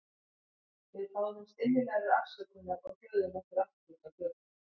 Við báðumst innilegrar afsökunar og hröðuðum okkur aftur út á götu.